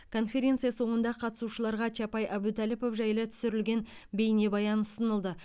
конференция соңында қатысушыларға чапай әбутәліпов жайлы түсірілген бейнебаян ұсынылды